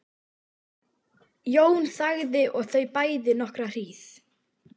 Jón þagði og þau bæði nokkra hríð.